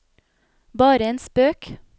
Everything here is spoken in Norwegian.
bare en spøk